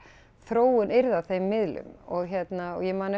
þróun yrði á þeim miðli og hérna ég man